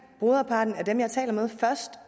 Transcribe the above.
broderparten af dem jeg taler med først